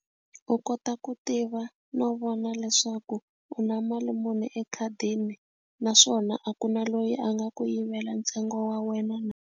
U kota ku tiva no vona leswaku u na mali muni ekhadini naswona a ku na loyi a nga ku yivela ntsengo wa wena na.